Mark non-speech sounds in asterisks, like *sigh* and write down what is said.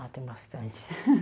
Ah, tem bastante. *laughs*